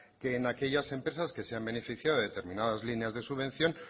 que en aquellas empresas que se han beneficiado de determinadas líneas de subvención